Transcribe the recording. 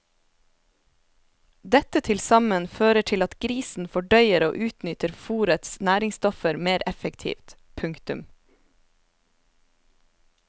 Dette tilsammen fører til at grisen fordøyer og utnytter fôrets næringsstoffer mer effektivt. punktum